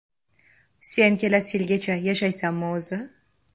Sen kelasi yilgacha yashaysanmi o‘zi?